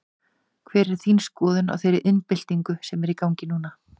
Hver er þín skoðun á þeirri iðnbyltingu sem er í gangi núna?